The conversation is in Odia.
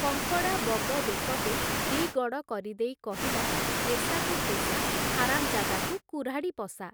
କଙ୍କଡ଼ା ବଗ ବେକକୁ ଦି’ଗଡ଼ କରିଦେଇ କହିଲା, ଯେସାକୁ ତେସା ହାରାମ୍‌ଜାଦାକୁ କୁରାଢ଼ି ପଶା ।